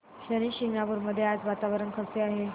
शनी शिंगणापूर मध्ये आज वातावरण कसे आहे